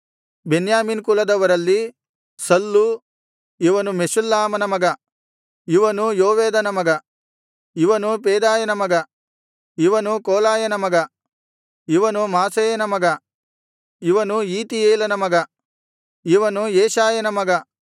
ಬೆನ್ಯಾಮೀನ್ ಕುಲದವರಲ್ಲಿ ಸಲ್ಲು ಇವನು ಮೆಷುಲ್ಲಾಮನ ಮಗ ಇವನು ಯೋವೇದನ ಮಗ ಇವನು ಪೆದಾಯನ ಮಗ ಇವನು ಕೋಲಾಯನ ಮಗ ಇವನು ಮಾಸೇಯನ ಮಗ ಇವನು ಈತೀಯೇಲನ ಮಗ ಇವನು ಯೆಶಾಯನ ಮಗ